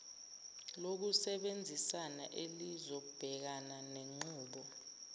lokusebenzisana elizobhekana nenqubo